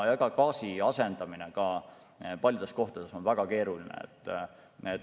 Gaasi asendamine on ka paljudes kohtades väga keeruline.